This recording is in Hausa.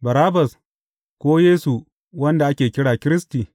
Barabbas ko Yesu wanda ake kira Kiristi?